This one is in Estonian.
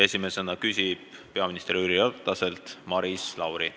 Esimesena küsib peaminister Jüri Rataselt Maris Lauri.